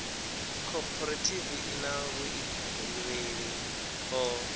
khophorethivi i na vhuḓifhinduleli ho